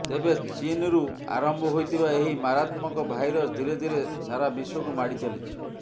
ତେବେ ଚୀନ୍ରୁ ଆରମ୍ଭ ହୋଇଥିବା ଏହି ମାରାତ୍ମକ ଭାଇରସ୍ ଧୀରେ ଧୀରେ ସାରାବିଶ୍ବକୁ ମାଡିଚାଲିଛି